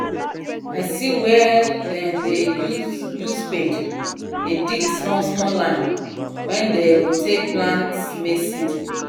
i see where dem dey use use spade dey dig small small line wen them go take plant maize seed